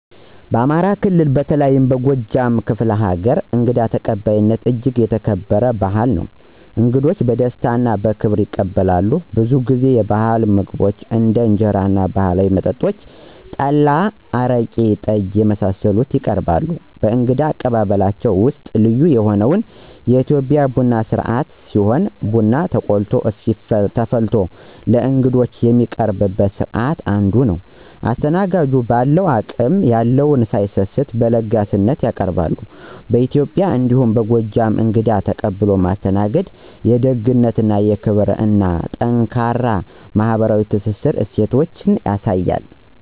በአማራ ክልል በተለይም በጎጃም ክፍለ ሀገር እንግዳ ተቀባይነት እጅግ የተከበረ ባህል ነው። እንግዶች በደስታ እና በክብር ይቀበላሉ፣ ብዙ ጊዜ የባህል ምግቦችን እንደ እንጀራ እና ባህላዊ መጠጦች (ጠላ፣ አረቄ፣ ጠጅ) የመሳሰሉትን ይቀርባሉ። ከእንግዳ አቀባበላቸው ውስጥም ልዩ የሆነው የኢትዮጵያ ቡና ስነስርአት ሲሆን ቡና ተቆልቶ እና ተፈልቶ ለእንግዶች የሚቀርብበት ስርአት አንዱ ነው። አስተናጋጁን በአለው አቅም የለውን ሳይሰስት በለጋስነት ያቀርባሉ። በኢትዬጵያ እንዲሁም በጎጃም እንግዳን ተቀብሎ ማስተናገድ የደግነትን፣ የክብርን እና ጠንካራ ማህበራዊ ትስስር እሴቶችን ያሳያል።